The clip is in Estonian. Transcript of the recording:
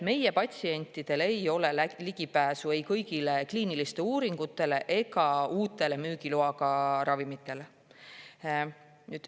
Meie patsientidel ei ole ligipääsu kõigile kliinilistele uuringutele ega uutele müügiloaga ravimitele.